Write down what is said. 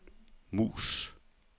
mus